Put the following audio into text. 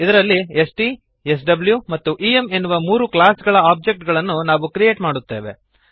ಇದರಲ್ಲಿ ಸ್ಟ್ ಸ್ವ್ ಮತ್ತು ಇಎಂ ಎನ್ನುವ ಮೂರು ಕ್ಲಾಸ್ ಗಳ ಒಬ್ಜೆಕ್ಟ್ ಗಳನ್ನು ನಾವು ಕ್ರಿಯೇಟ್ ಮಾಡುತ್ತೇವೆ